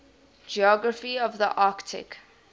geography of the arctic